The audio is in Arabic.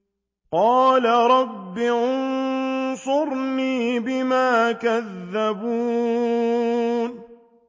قَالَ رَبِّ انصُرْنِي بِمَا كَذَّبُونِ